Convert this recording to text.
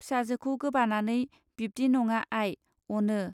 फिसाजोखौ गोबानानै बिब्दि नङा आइ, अनो